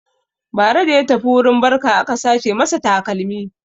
Bara da ya tafi wurin barka aka sace masa takalmi.